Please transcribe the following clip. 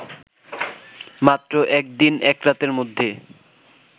মাত্র একদিন একরাতের মধ্যে